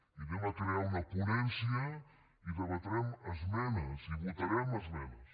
i crearem una ponència i debatrem esmenes i votarem esmenes